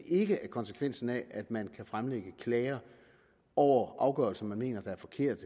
ikke at konsekvensen af at man kan fremlægge klager over afgørelser man mener er forkerte